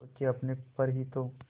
खो के अपने पर ही तो